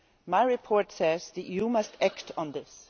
My report says that we must act on this.